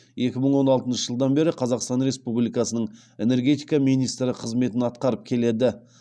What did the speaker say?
екі мың он алтыншы жылдан бері қазақстан республикасының энергетика министрі қызметін атқарып келеді